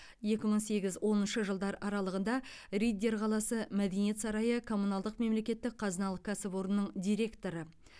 екі мың сегіз оныншы жылдар аралығында риддер қаласы мәдениет сарайы коммуналдық мемлекеттік қазыналық кәсіпорынның директоры